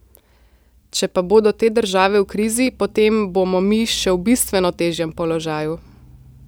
Če pa bodo te države v krizi, potem bomo mi še v bistveno težjem položaju.